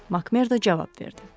Makmerdo cavab verdi.